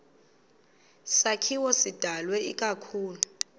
sakhiwo sidalwe ikakhulu